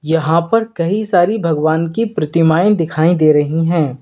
यहां पर कई सारी भगवान की प्रतिमाएं दिखाई दे रहीं हैं।